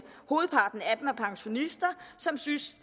hovedparten af dem er pensionister som synes